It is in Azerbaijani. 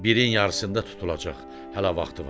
Birin yarısında tutulacaq, hələ vaxtı var.